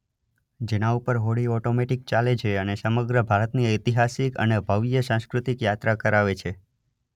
જેના ઉપર હોડી ઓટોમેટિક ચાલે છે અને સમગ્ર ભારત ની ઐતિહાસિક અને ભવ્ય સાંસ્કૃતિક યાત્રા કરાવે છે.